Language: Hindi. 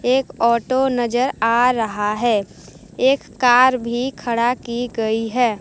एक ओटो नजर आ रहा है एक कार भी खड़ा की गई है।